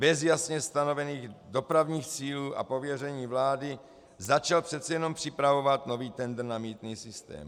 Bez jasně stanovených dopravních cílů a pověření vlády začal přece jen připravovat nový tendr na mýtný systém.